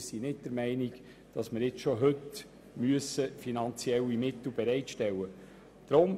Wir sind nicht der Meinung, dass wir schon heute die finanziellen Mittel bereitstellen müssen.